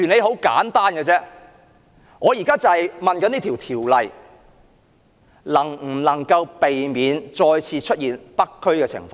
很簡單，這項《條例草案》能否避免再次出現北區的情況？